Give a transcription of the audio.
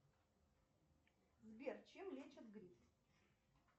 сбер чем лечат грипп